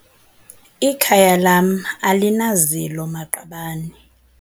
Ikhaya lam alinazilo-maqabane.